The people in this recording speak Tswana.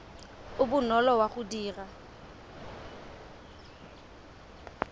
o bonolo wa go dira